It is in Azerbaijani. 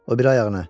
O biri ayağını.